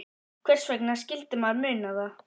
Hvers vegna skyldi maður muna það?